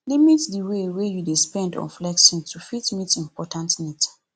limit di way wey you dey spend on flexing to fit meet important needs